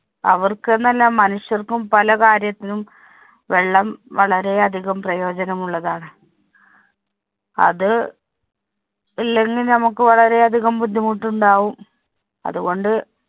അവര്‍ക്കെന്നല്ല, മനുഷ്യര്‍ക്കും പല കാര്യത്തിനും വെള്ളം വളരെ അധികം പ്രയോജനമുള്ളതാണ്. അത് ഇല്ലെങ്കില്‍ നമുക്ക് വളരെ അധികം ബുദ്ധിമുട്ടുണ്ടാകും. അതുകൊണ്ട്,